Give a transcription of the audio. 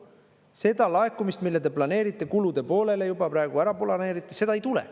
Seda laekumist, mille te planeerite kulude poolele, juba praegu ära planeerite, seda ei tule.